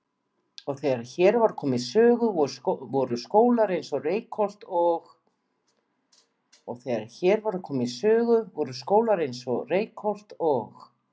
Og þegar hér var komið sögu voru skólar eins og Reykholt og